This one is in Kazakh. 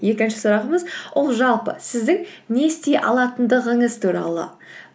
екінші сұрағымыз ол жалпы сіздің не істей алатындығыңыз туралы